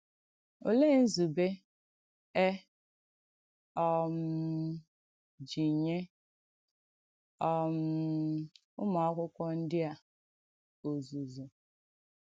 Olèè nzùbè è um jì nyè um ùmù àkụ̀kwọ̀ ndí à òzùzụ̀?